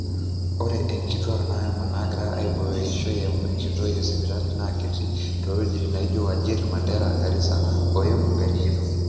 ore nkituaak naayama naagira aaibooyo eishoi eimu inkoitoi esipitali naa kiti toowuejitin nijo, wajir, mandera garisa o embu erikito